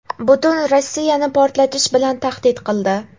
"butun Rossiyani portlatish" bilan tahdid qildi.